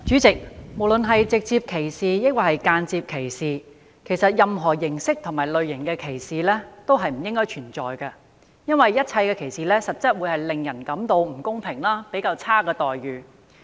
代理主席，無論是直接歧視，抑或是間接歧視，任何形式和類型的歧視都不應存在，因為一切歧視都會令人感到不公平和受到較差待遇。